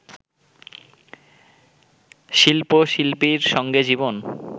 শিল্প-শিল্পীর সঙ্গে জীবন